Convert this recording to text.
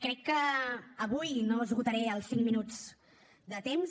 crec que avui no esgotaré els cinc minuts de temps